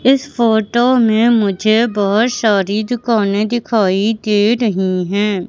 इस फोटो में मुझे बहुत सारी दुकानें दिखाई दे रही हैं।